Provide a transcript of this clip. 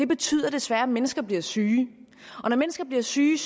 betyder desværre at mennesker bliver syge og når mennesker bliver syge